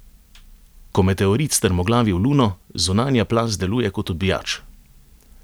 Ko meteorit strmoglavi v luno, zunanja plast deluje kot odbijač.